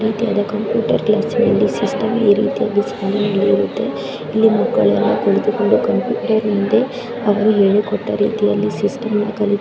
ಇದು ಯಾವುದೋ ಒಂದು ಕಂಪ್ಯೂಟರ್ ಕ್ಲಾಸ್ ಅಂತ ಕಾಣಿಸದೆ ಇಲ್ಲಿ ನೀಟಾಗಿ ಈ ರೀತಿಯಾಗಿ ಮತ್ತೆ ಹಿಂದೆ ಅವರು ಹೇಳಿಕೊಟ್ಟ ರೀತಿಯಲ್ಲಿ ಶಿಸ್ತಾಗಿ ಕಲಿ --